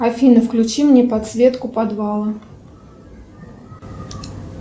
афина включи мне подсветку подвала